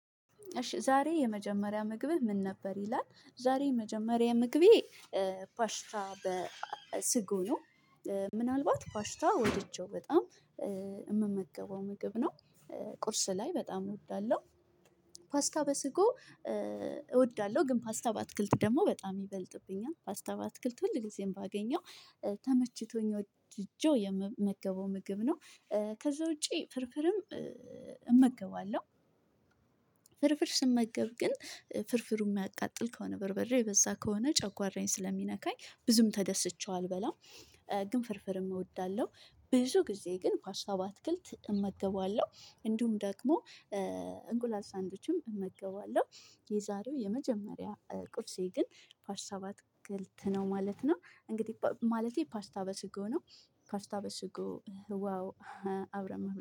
እሺ ዛሬ የመጀመሪያ ምግብህ ምን ነበር? ይላል ዛሬ የመጀመሪያ ምግቤ ፓሽታ በስጎ ነው ምናልባት ፓሽታ ወድጀው በጣም የምመገበው ምግብ ነው፤ ቁርስ ላይ በጣም እወዳለሁ ፓስታ በስጎ እወዳለሁ ግን ፓስታ በአትክልት ደግሞ በጣም ይበልጥብኛል ፓስታ ባትክልት ሁል ጊዜም ባገኘው ተመችቶኝ ወድጀው የምመገበው ምግብ ነው፤ ከዛ ውጪ ፍርፍርም እመገባለሁ ፍርፍር ስመገብ ግን ፍርፍሩ የሚያቃጥል ከሆነ በርበሬ በዛ ከሆነ ጨጓራዬን ስለሚነካኝ ብዙም ተደስቸው አልበላም፤ ግን ፍርፍርም እወዳለሁ ብዙ ጊዜ ግን ፓስታ በአትክልት እመገባለሁ እንዲሁም ደግሞ እንቁላል ሳንድዊችም እመገባለሁ የዛሬው የመጀመሪያ ቁርሴ ግን ፓስታ በአትክልት ነው ማለት ነው እንግዲህ ማለቴ ፓስታ በስጎ ነው ፓስታ በስጎ ዋው አብረን